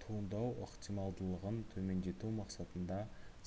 туындау ықтималдығын төмендету мақсатында